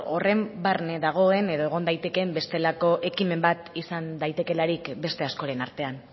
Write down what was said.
horren barne dagoen edo egon daitekeen bestelako ekimen bat izan daitekeelarik beste askoren artean